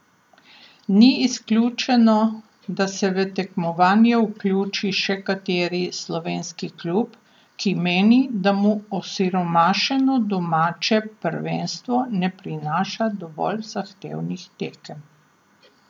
Ni izključeno, da se v tekmovanje vključi še kateri slovenski klub, ki meni, da mu osiromašeno domače prvenstvo ne prinaša dovolj zahtevnih tekem.